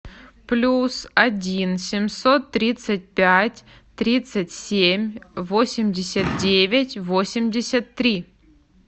плюс один семьсот тридцать пять тридцать семь восемьдесят девять восемьдесят три